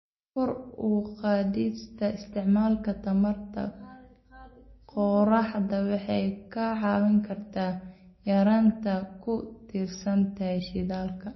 Kor u qaadista isticmaalka tamarta qoraxda waxay ka caawin kartaa yareynta ku tiirsanaanta shidaalka.